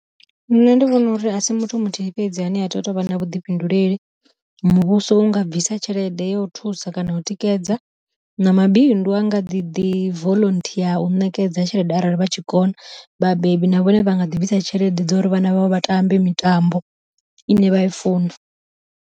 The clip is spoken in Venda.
Nṋe ndi vhona uri asi muthu muthihi fhedzi ane a tea u tou vha na vhuḓifhinduleli, muvhuso unga bvisa tshelede ya u thusa kana u tikedza. Na mabindu a nga ḓi ḓi volunteer u ṋekedza tshelede arali vha tshikona, vhabebi na vhone vha nga ḓivhisa tshelede dzo uri vhana vhavho vha tambe mitambo ine vha i funa.